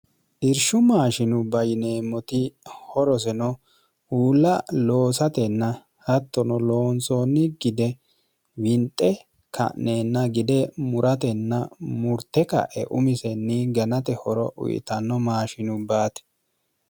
dirshu maashinu bayineemmoti horoseno uulla loosatenna hattono loonsoonni gide winxe ka'neenna gide muratenna murte ka'e umisenni ganate horo uyitanno maashinu baati